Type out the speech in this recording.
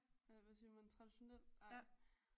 Eller hvad siger man traditionel ej